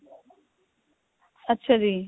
ਅੱਛਾ ਜੀ